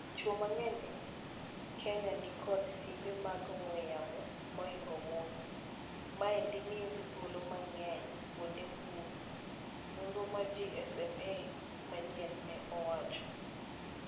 Chwo mang'eny e Kenyanikod simbe mag ong'we yamo maingo mon. Maendi miogi thuolo mang'eny kuonde mbui. Nonro mar GSMA manyien ne owacho.